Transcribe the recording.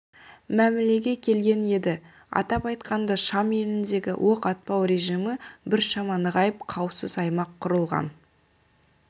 мәмілеге келген еді атап айтқанда шам еліндегі оқ атпау режимі біршама нығайып қауіпсіз аймақ құрылған